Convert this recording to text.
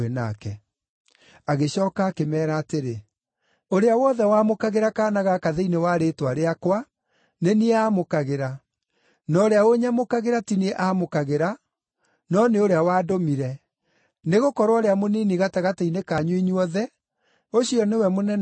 Agĩcooka akĩmeera atĩrĩ, “Ũrĩa wothe wamũkagĩra kaana gaka thĩinĩ wa rĩĩtwa rĩakwa, nĩ niĩ aamũkagĩra; na ũrĩa ũnyamũkagĩra ti niĩ aamũkagĩra, no nĩ ũrĩa wandũmire. Nĩgũkorwo ũrĩa mũnini gatagatĩ-inĩ kanyu inyuothe, ũcio nĩwe mũnene kũmũkĩra.”